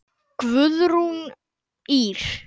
Guðrún Ýr.